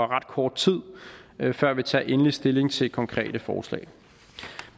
ret kort tid før vi tager endelig stilling til konkrete forslag